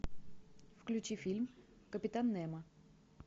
включи фильм капитан немо